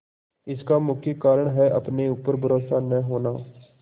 इसका मुख्य कारण है अपने ऊपर भरोसा न होना